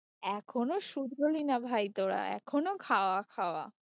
এখনো শুধরোলিনা ভাই তোরা এখনো খাওয়া খাওয়া